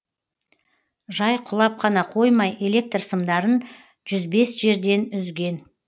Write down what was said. жай құлап қана қоймай электр сымдарын жүз бес жерден үзген